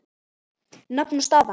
Nafn og staða?